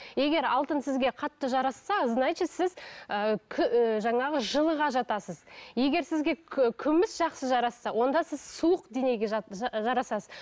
егер алтын сізге қатты жарасса значит сіз ы жаңағы жылыға жатасыз егер сізге күміс жақсы жарасса онда сіз суық денеге жарасасыз